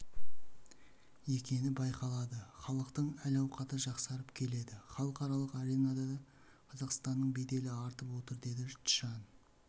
екені байқалады халықтың әл-ауқаты жақсарып келеді халықаралық аренада да қазақстанның беделі артып отыр деді чжан